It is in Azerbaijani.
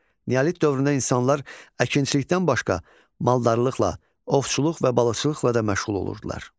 Neolit dövründə insanlar əkinçilikdən başqa maldarlıqla, ovçuluq və balıqçılıqla da məşğul olurdular.